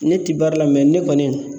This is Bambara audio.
Ne ti baara la mɛ ne kɔni